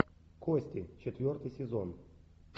кости четвертый сезон